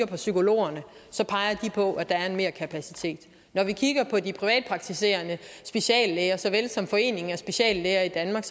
på psykologerne peger de på at der er en merkapacitet når vi kigger på de privatpraktiserende speciallæger såvel som foreningen af speciallæger i danmark